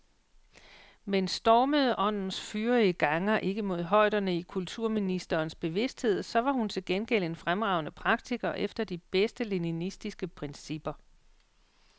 Men stormede åndens fyrige ganger ikke mod højderne i kulturministerens bevidsthed, så var hun til gengæld en fremragende praktiker efter de bedste leninistiske principper.